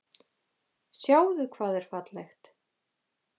Sjáðu hvað er fallegt.